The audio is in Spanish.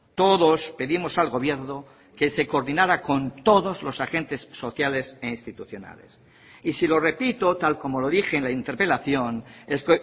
todos pedimos al gobierno que se coordinara con todos los agentes sociales e institucionales y si lo repito tal como lo dije en la interpelación es